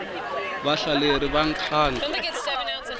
vahlaleri va nkhankha